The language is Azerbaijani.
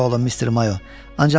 Çox sağ olun, Mister Mayo.